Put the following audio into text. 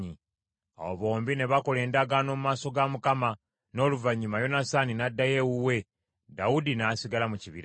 Awo bombi ne bakola endagaano mu maaso ga Mukama , n’oluvannyuma Yonasaani n’addayo ewuwe, Dawudi n’asigala mu kibira.